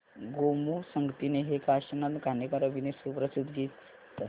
गोमू संगतीने हे काशीनाथ घाणेकर अभिनीत सुप्रसिद्ध गीत प्ले कर